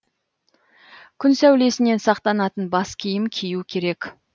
күн сәулесінен сақтанатын бас киім кию керек